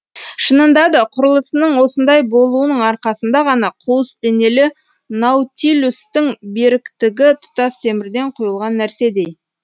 шынында да құрылысының осындай болуының арқасында ғана қуыс денелі наутилустың беріктігі тұтас темірден құйылған нәрседей